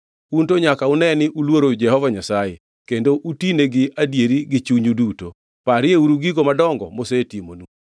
Un to nyaka une ni uluoru Jehova Nyasaye, kendo utine gi adieri gi chunyu duto; parieuru gigo madongo mosetimonu.